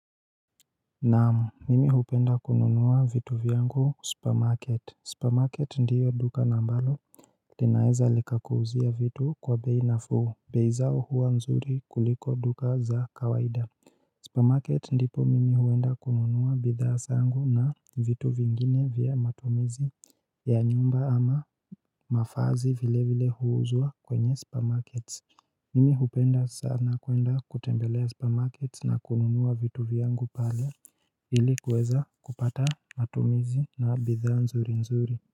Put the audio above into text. Naam mimi hupenda kununua vitu vyangu supermarket. Supermarket ndiyo duka na ambalo linaeza likakuuzia vitu kwa bei nafuu bei zao huwa nzuri kuliko duka za kawaida supermarket ndipo mimi huenda kununua bidhaa zangu na vitu vingine vya matumizi ya nyumba ama mavazi vile vile huuzwa kwenye supermarket Nimi hupenda sana kuenda kutembelea supermarket na kununua vitu vyangu pale ili kuweza kupata matumizi na bidhaa nzuri nzuri.